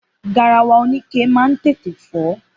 Garawa oníke ma ń tètè fó.